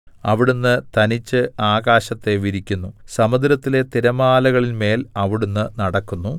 അവിടുന്ന് തനിച്ച് ആകാശത്തെ വിരിക്കുന്നു സമുദ്രത്തിലെ തിരമാലകളിന്മേൽ അവിടുന്ന് നടക്കുന്നു